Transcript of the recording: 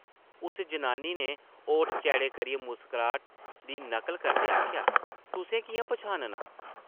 उस जनानी नै ओठ चैड़े करियै मुस्कराह्ट दी नकल करदे आखेआ, तुसें किʼयां पन्छाननां?